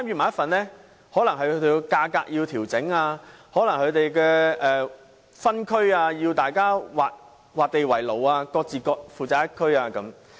可能他們要在價格上作出調整，也可能要劃分範圍，各自負責一區。